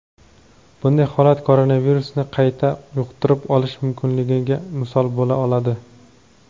bunday holat koronavirusni qayta yuqtirib olish mumkinligiga misol bo‘la oladi.